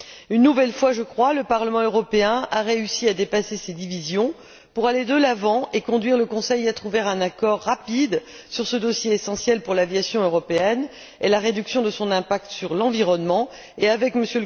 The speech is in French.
Une nouvelle fois, je crois, le Parlement européen a réussi à dépasser ses divisions pour aller de l'avant et conduire le Conseil à trouver un accord rapide sur ce dossier essentiel pour l'aviation européenne et la réduction de son impact sur l'environnement, et avec M.